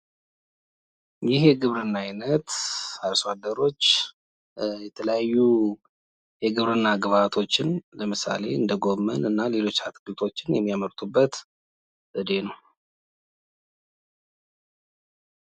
ይህ የግብርና አይነት አርሷደሮች የተለያዩ የግብርና ግብኣቶችን ለምሳሌ እንደ ጎመን እና ሌሎች አትክልቶችን የሚያመርቱበት የግብርና ዘዴ ነው።